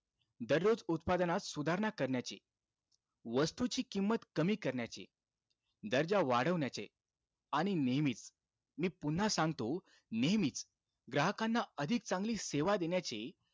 दररोज उत्पादनात सुधारणा करण्याचे, वस्तूची किंमत कमी करण्याचे, दर्जा वाढवण्याचे, आणि नेहमीचं, मी पुन्हा सांगतो नेहमीचं, ग्राहकांना अधिक चांगली सेवा देण्याचे,